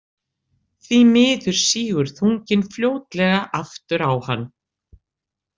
Því miður sígur þunginn fljótlega aftur á hann.